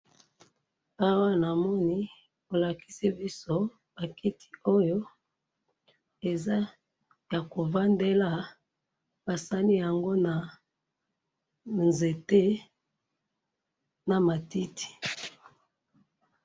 Awa namoni balakisi biso bakiti oyo eza yakovandela, basaliyango na nzete na matiti.